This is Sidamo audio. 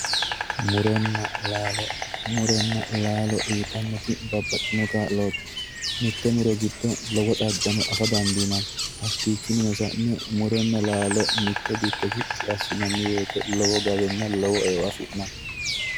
Muronna laalo, muronna laalo uyittanoti babbaxitino kaa'loti mitte muro giddo lowo xagano affa dandiinanni, hakkichininno sa'ne muronna laalo mitte dikko shiqqi assinanni woyte lowo gawenna lowo eo afi'nanni.